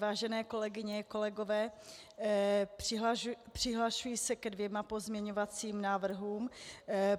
Vážené kolegyně, kolegové, přihlašuji se ke dvěma pozměňovacím návrhům.